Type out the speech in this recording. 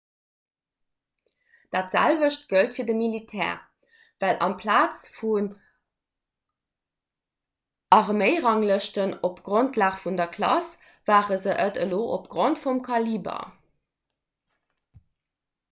dat selwecht gëllt fir de militär well amplaz vu arméiranglëschten op grondlag vun der klass ware se et elo opgrond vum kaliber